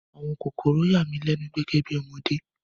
Àwọn kòkòrò yà mí lẹ́nu gẹ́gẹ́ bí ọmọdé